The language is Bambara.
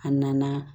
A nana